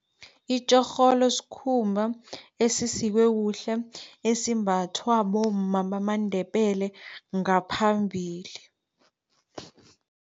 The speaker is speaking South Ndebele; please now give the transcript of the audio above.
Itjorholo sikhumba esisikwe kuhle, esimbathwa bomma bamaNdebele ngaphambili.